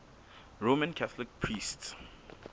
roman catholic priests